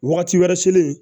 Wagati wɛrɛ selen